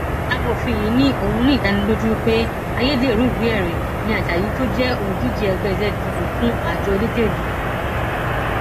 amòfin yìí ni òún ní ìdánilójú pé ayédèrú ìwéẹrí ni ajayi tó jẹ olùdíje ẹgbẹ zgp fún àjọ elétò ìdìbò